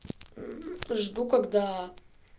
жду когда